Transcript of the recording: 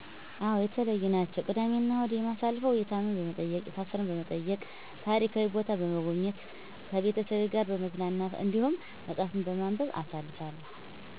አዎ የተለዩ ናቸው። ቅዳሜ እናሁድ የማሳልፈው የታመመ በመጠየቅ፣ የታሰረ በመጠየቅ፣ ታሪካዊ ቦታ በሞጎብኘት፣ ከቤተሰቤ ጋር በመዝናናት፣ እንዲሁም መፀሀፍትን በማንበብ አሳልፋለሁ።